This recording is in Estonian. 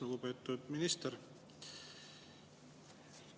Lugupeetud minister!